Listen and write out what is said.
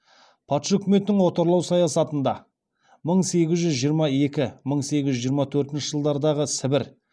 патша өкіметінің отарлау саясатында мың сегіз жүз жиырма екі мың сегіз жүз жиырма төртінші жылдардағы сібір